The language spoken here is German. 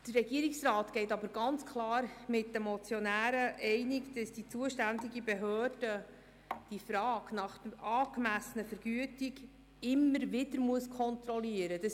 Der Regierungsrat geht aber ganz klar mit den Motionären einig, dass die zuständige Behörde die Frage nach der angemessenen Vergütung immer wieder kontrollieren muss.